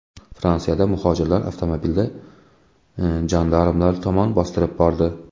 Fransiyada muhojirlar avtomobilda jandarmlar tomon bostirib bordi.